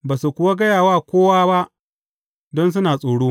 Ba su kuwa gaya wa kowa ba, don suna tsoro.